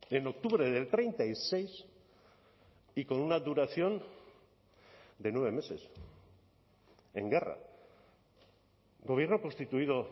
en octubre del treinta y seis y con una duración de nueve meses en guerra gobierno constituido